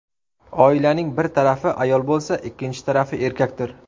Oilaning bir tarafi ayol bo‘lsa, ikkinchi tarafi erkakdir.